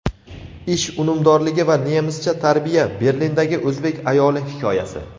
ish unumdorligi va nemischa tarbiya — Berlindagi o‘zbek ayoli hikoyasi.